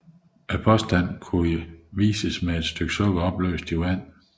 Påstanden kan illustreres med et stykke sukker opløseligt i vand